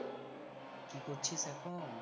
কি করছিস এখন